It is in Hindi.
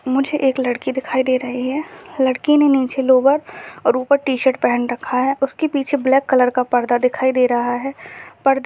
मुझे एक लड़की दिखाई दे रही है लड़की ने नीचे लोवर और ऊपर टी शर्ट पहन रखा है उसके पीछे ब्लैक कलर का पर्दा दिखाइ दे रहा है पर्दे --